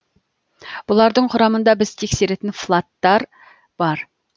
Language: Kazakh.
бұлардың құрамында біз тексеретін флаттар бар